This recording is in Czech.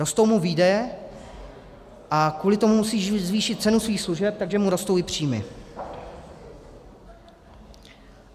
Rostou mu výdaje a kvůli tomu musí zvýšit cenu svých služeb, takže mu rostou i příjmy.